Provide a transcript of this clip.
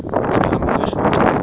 igama wee shwaca